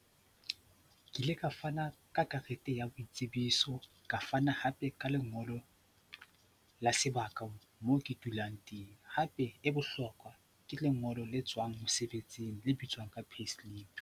Ke ile ka fana ka karete ya boitsebiso, ka fana hape ka lengolo la sebaka moo ke dulang teng, hape e bohlokwa ke lengolo le tswang mosebetsing, le bitswang ka payslip.